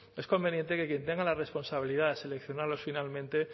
es conveniente que quien tenga la responsabilidad de seleccionarlos finalmente